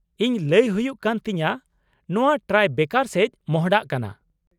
ᱤᱧ ᱞᱟ.ᱭ ᱦᱩᱭᱩᱜ ᱠᱟᱱ ᱛᱤᱧᱟ.,ᱱᱚᱶᱟ ᱴᱨᱟᱭᱵᱮᱠᱟᱨ ᱥᱮᱡ ᱢᱚᱸᱦᱰᱟᱜ ᱠᱟᱱᱟ ᱾